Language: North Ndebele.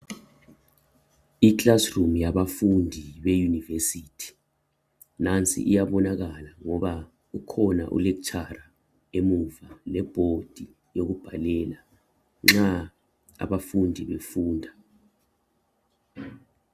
Ikilasrum yabafundi be univesithi, nansi iyabonakala ngoba ukhona u lek'tshara emuva le board yokubhalela nxa abafundi befunda.